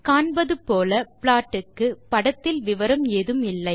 காண்பது போல ப்ளாட் க்கு படத்தில் விவரணம் ஏதும் இல்லை